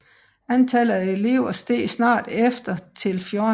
Antallet af elever steg snart efter til 14